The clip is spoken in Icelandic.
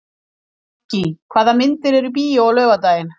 Maggý, hvaða myndir eru í bíó á laugardaginn?